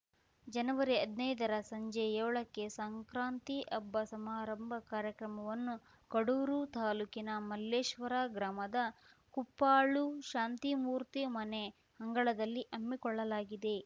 ಜನವರಿಹದ್ನೈದರ ಸಂಜೆ ಯೋಳಕ್ಕೆ ಸಂಕ್ರಾಂತಿ ಹಬ್ಬ ಸಂಭ್ರಮ ಕಾರ್ಯಕ್ರಮವನ್ನು ಕಡೂರು ತಾಲೂಕಿನ ಮಲ್ಲೇಶ್ವರ ಗ್ರಾಮದ ಕುಪ್ಪಾಳು ಶಾಂತಿಮೂರ್ತಿ ಮನೆ ಅಂಗಳದಲ್ಲಿ ಹಮ್ಮಿಕೊಳ್ಳಲಾಗಿದೆ